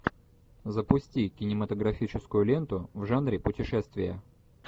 запусти кинематографическую ленту в жанре путешествия